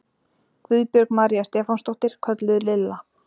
Guðbjörg María Stefánsdóttir, kölluð Lilla